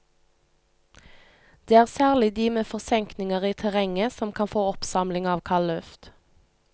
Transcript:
Det er særlig de med forsenkninger i terrenget som kan få oppsamling av kaldluft.